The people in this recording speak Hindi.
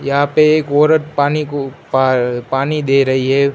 यहां पे एक औरत पानी को पा पानी दे रही है।